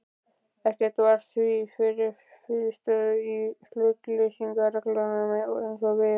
Ekkert var því til fyrirstöðu í hlutleysisreglum, en eins og